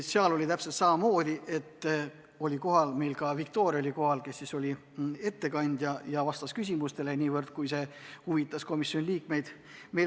Seal oli täpselt samamoodi, et kohal oli ka Viktoria, kes oli ettekandja ja vastas küsimustele niivõrd, kuivõrd see huvitas komisjoni liikmeid.